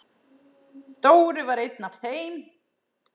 Dóri var einn af þeim.